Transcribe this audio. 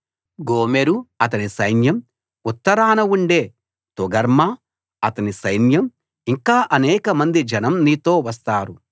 గోమెరు అతని సైన్యం ఉత్తరాన ఉండే తోగర్మా అతని సైన్యం ఇంకా అనేకమంది జనం నీతో వస్తారు